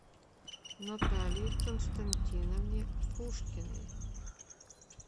наталии константиновне пушкиной